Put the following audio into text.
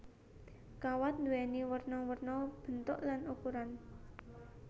Kawat nduwéni werna werna bentuk lan ukuran